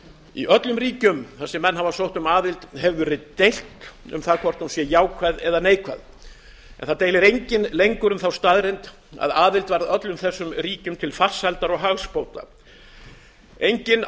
í öllum ríkjum þar sem menn hafa sótt um aðild hefur verið deilt um það hvort hún sé jákvæð eða neikvæð en enginn deilir lengur um þá staðreynd að aðild varð öllum þessum ríkjum til farsældar og hagsbóta engin